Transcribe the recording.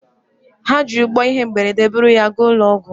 Ha ji ụgbọ ihe mberede buru ya gaa ụlọ ọgwụ?